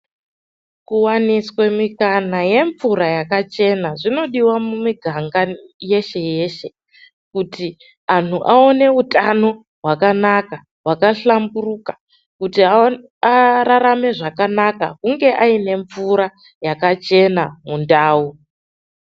Kuwaniswa mikana yemvura yakachena zvinodiwa mumiganga yeshe-yeshe kuti vantu vaone utano hwakanaka hwakahlamburuka kuti ararame zvakanaka hunge ane mvura yakachena mundau.